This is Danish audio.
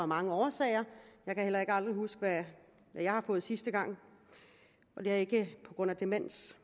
mange årsager jeg kan heller aldrig huske hvad jeg har fået sidste gang og det er ikke på grund af demens